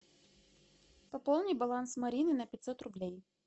пополни баланс марины на пятьсот рублей